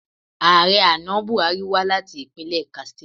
Ààrẹ àná Bùhárí wá láti ìpínlẹ̀ Katstina